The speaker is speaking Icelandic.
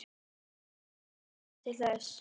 Ég hvatti hann til þess.